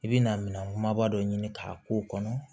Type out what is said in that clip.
I bi na minɛn kumaba dɔ ɲini k'a k'o kɔnɔ